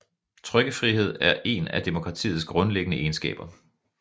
Trykkefrihed er en af demokratiets grundlæggende egenskaber